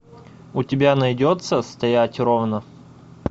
у тебя найдется стоять ровно